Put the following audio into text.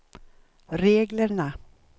reglerna